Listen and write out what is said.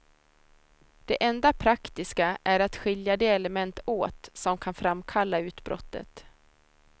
Det enda praktiska är att skilja de element åt, som kan framkalla utbrottet.